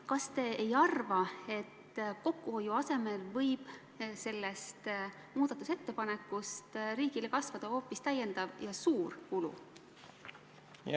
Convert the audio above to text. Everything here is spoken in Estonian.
Kas te ei arva, et kokkuhoiu asemel võib sellest muudatusettepanekust riigile kasvada hoopis täiendav suur kulu?